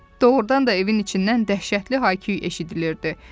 Doğrudan da evin içindən dəhşətli hay küy eşidilirdi.